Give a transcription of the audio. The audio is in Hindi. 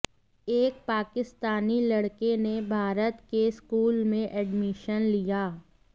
एक पाकिस्तानी लड़के ने भारत के स्कूल में एडमिशन लिया